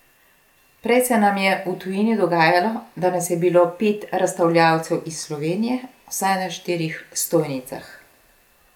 Prej se nam je v tujini dogajalo, da nas je bilo pet razstavljavcev iz Slovenije vsaj na štirih stojnicah.